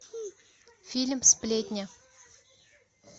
фильм сплетни